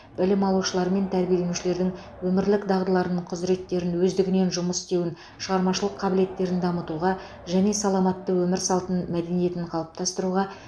білім алушылар мен тәрбиеленушілердің өмірлік дағдыларын құзыреттерін өздігінен жұмыс істеуін шығармашылық қабілеттерін дамытуға және саламатты өмір салты мәдениетін қалыптастыруға